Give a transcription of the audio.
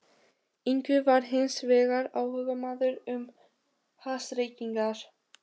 Ingvi var hins vegar áhugamaður um hassreykingar.